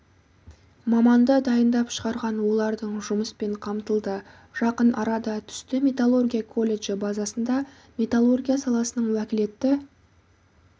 маманды дайындап шығарған олардың жұмыспен қамтылды жақын арада түсті металлургия колледжі базасында металлургия саласының уәкілетті